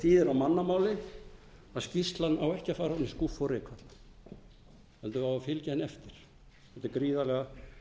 þýðir á mannamáli að skýrslan á ekki að fara ofan í skúffu og rykfalla heldur á að fylgja henni eftir þetta er gríðarlega